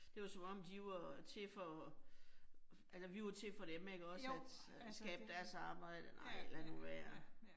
Det var som om de var til for, altså vi var til for dem ikke også at øh skabe deres arbejde. Nej, lad nu være